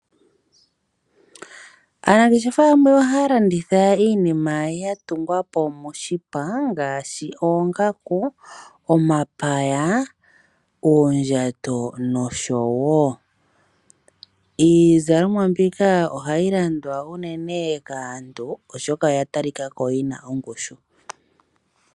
Aanangeshefa yamwe ohaya landitha iinima ya tungwapo moshipa ngaashi oongaku, omapaya, uundjato noshowo iizalomwa mbika ohayi landwa unene kaantu oshoka oya talikako yi na ongushu.